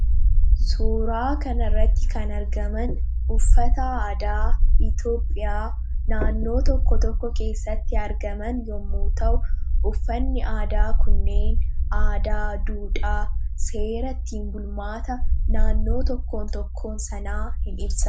Suuraa kanarratti kan argaman uffata aadaa Itoophiyaa naannoo tokko tokko keessatti argaman yommuu ta'u, uffanni aadaa kunniin aadaa, duudhaa, seera ittiin bulmaata naannoo tokkoon tokkoo sanaa ni ibsa.